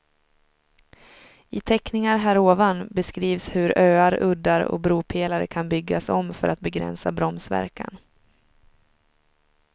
I teckningar härovan beskrivs hur öar, uddar och bropelare kan byggas om för att begränsa bromsverkan.